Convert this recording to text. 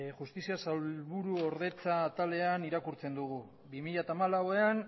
justizia sailburu ordetza taldean irakurtzen dugu bi mila hamalauean